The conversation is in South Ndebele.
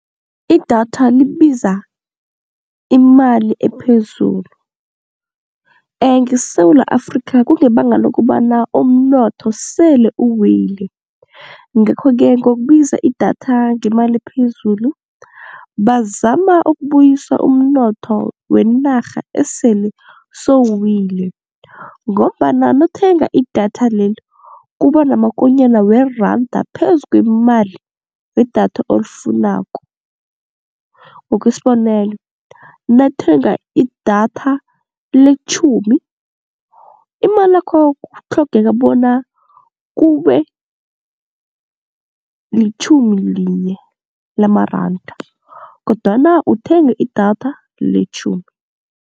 Idatha libiza imali ephezulu ngeSewula Afrikha kungebanga lokobana umnotho sele uwile, ngakho-ke ngokubiza idatha ngemali ephezulu bazama ukubuyisa umnotho wenarha esele sowuwile ngombana nawuthenga idatha lelo kuba namakonyana weranda phezu kwemali wedatha olifunako. Ngokwesibonelo, nawuthenga idatha letjhumi imalakho kutlhogeka bona kube litjhumi linye lamaranda kodwana uthenga idatha letjhumi.